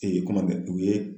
u ye